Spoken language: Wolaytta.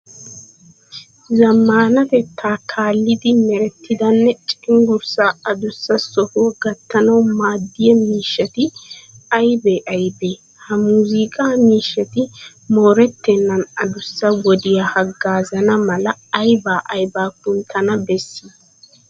Zammaanatettaa kaallidi merettidanne cenggurssaa adussa sohuwa gattanawu maaddiya miishshati aybee aybee? Ha muuziiqaa miishshati moorettennan adussa wodiya haggaazana mala aybaa aybaa kunttana bessii?